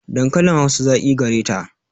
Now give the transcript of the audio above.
Dankalin Hausa zaƙi gareta.